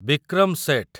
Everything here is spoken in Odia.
ବିକ୍ରମ ସେଠ